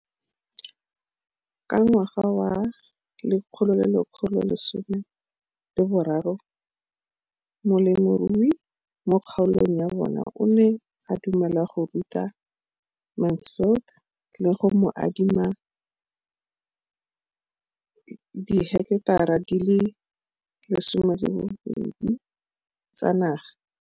Ka ngwaga wa 2013, molemirui mo kgaolong ya bona o ne a dumela go ruta Mansfield le go mo adima di heketara di le 12 tsa naga.